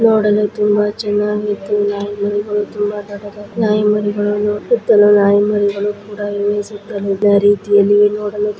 ನೋಡಲು ತುಂಬಾ ಚೆನ್ನಾಗಿ ಇತು ನಾಯಿ ಮರಿಗಳು ಕೂಡ ಇವೆ ಸುತಲಿದ ರೀತಿ ಆಲ್ಲಿ ನೋಡಲು